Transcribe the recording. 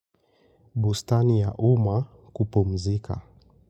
Bustani ya uma kupumzika.